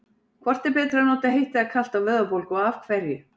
Hvort er betra að nota heitt eða kalt á vöðvabólgu og af hverju?